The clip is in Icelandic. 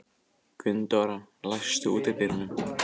Gunndóra, læstu útidyrunum.